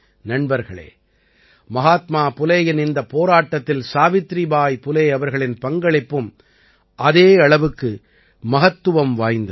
நண்பர்களே மஹாத்மா புலேயின் இந்தப் போராட்டத்தில் சாவித்ரீபாய் புலே அவர்களின் பங்களிப்பும் அதே அளவுக்கு மகத்துவம் நிறைந்தது